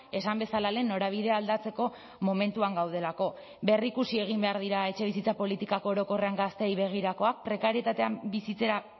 esan bezala lehen norabidea aldatzeko momentuan gaudelako berrikusi egin behar dira etxebizitza politikak orokorrean gazteei begirakoak prekarietatean bizitzera